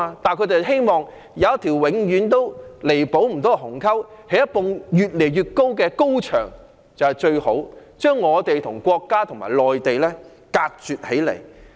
但反對派希望有一條永遠不能填補的鴻溝，興建一道越來越高的高牆，把我們與國家和內地隔絕起來。